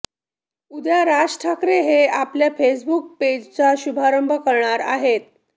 उद्या राज ठाकरे हे आपल्या फेसबुक पेजचा शुभारंग करणार आहेत